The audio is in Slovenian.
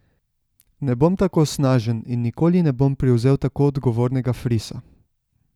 Ne bom tako snažen in nikoli ne bom privzel tako odgovornega frisa!